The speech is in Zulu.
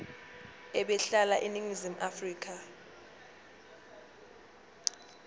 ebehlala eningizimu afrika